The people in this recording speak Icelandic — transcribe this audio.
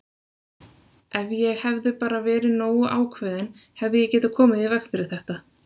Ef ég hefði bara verið nógu ákveðinn hefði ég getað komið í veg fyrir þetta!